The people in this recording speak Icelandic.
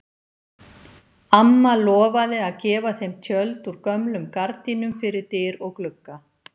Amma lofaði að gefa þeim tjöld úr gömlum gardínum fyrir dyr og glugga.